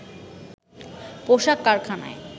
পোশাক কারখানায়